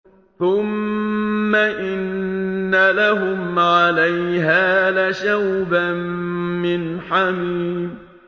ثُمَّ إِنَّ لَهُمْ عَلَيْهَا لَشَوْبًا مِّنْ حَمِيمٍ